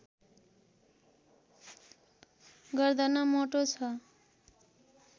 गर्दन मोटो छ